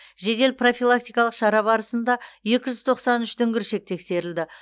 жедел профилактикалық шара барысында екі жүз тоқсан үш дүңгіршек тексерілді